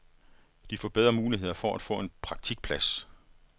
De får bedre muligheder for at få en praktikplads.